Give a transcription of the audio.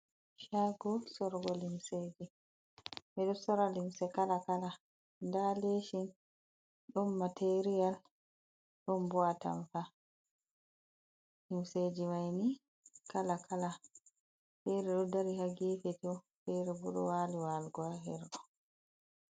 Shago sorugo limseji. Ɓeɗo sora limse kala kala nda leshin, ɗon material, ɗon bo atampa. Limseji maini kala kala fere ɗo dari ha gefe tooh, fere bo wali walugo ha her ɗo.